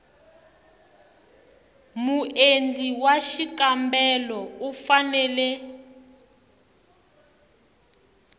muendli wa xikombelo u fanele